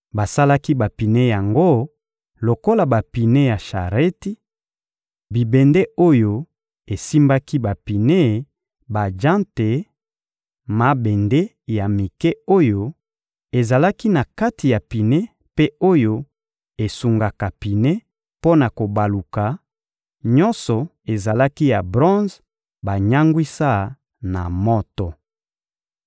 Basalaki bapine yango lokola bapine ya shareti: bibende oyo esimbaki bapine, bajante, mabende ya mike oyo ezalaka na kati ya pine mpe oyo esungaka pine mpo na kobaluka, nyonso ezalaki ya bronze banyangwisa na moto.